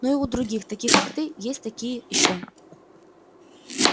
ну и других таких как ты есть такие ещё